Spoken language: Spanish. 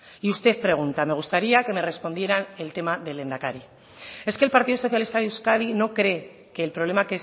y usted pregunta me gustaría que me respondiera el tema del lehendakari es que el partido socialista de euskadi no cree que el problema